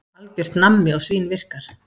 Algjört nammi og svínvirkar.